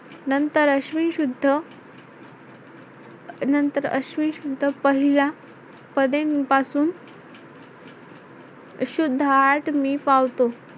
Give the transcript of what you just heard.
नंतर अश्विन शुद्ध नंतर अश्विन शुद्ध पहिल्या पदेंपासून सुद्धा आठवी पावतो.